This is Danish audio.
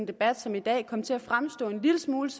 debat som i dag komme til at fremstå en lille smule